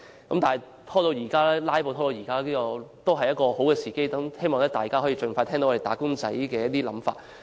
縱使議案因為"拉布"拖延了1年，但現時仍屬好時機，希望政府可以盡快聽到"打工仔"的想法。